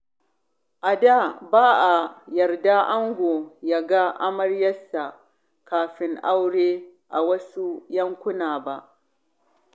A da, ba a yarda ango ya ga amaryarsa kafin aure a wasu yankuna ba.